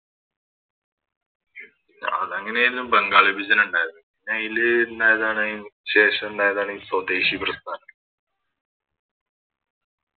അതങ്ങനെയായിരുന്നു ബംഗാൾ വിഭജനണ്ടായത് പിന്നയില് ഇണ്ടായതാണ് ശേഷാണ്ടായതാണ് സ്വദേശി പ്രസ്ഥാനം